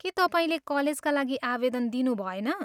के तपाईँले कलेजका लागि आवेदन दिनुभएन?